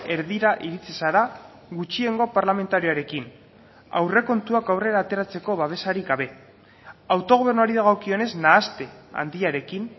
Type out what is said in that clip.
erdira iritsi zara gutxiengo parlamentarioarekin aurrekontuak aurrera ateratzeko babesarik gabe autogobernuari dagokionez nahaste handiarekin